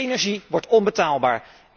Energie wordt onbetaalbaar.